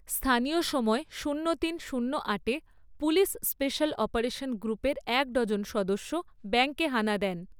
স্থানীয় সময় শূন্য তিন শূন্য আটে পুলিশ স্পেশাল অপারেশন গ্রুপের এক ডজন সদস্য ব্যাঙ্কে হানা দেন।